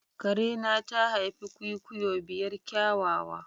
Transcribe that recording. Karena ta haifi kwikwiyo biyar kyawawa.